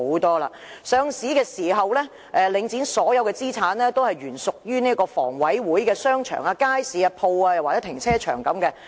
在上市時，領展的所有資產都是原屬於房屋委員會的商場、街市、商鋪或停車場等。